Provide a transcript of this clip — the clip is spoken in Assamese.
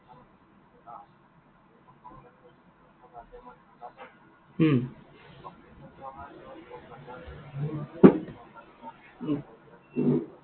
উম উম